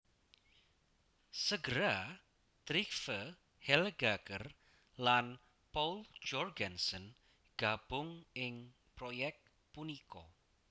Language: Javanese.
Segera Trygve Helgaker lan Poul Jorgensen gabung ing proyek punika